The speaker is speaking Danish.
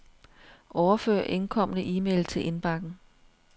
Overfør indkomne e-mail til indbakken.